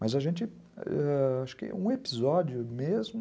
Mas a gente ãh ... acho que um episódio mesmo...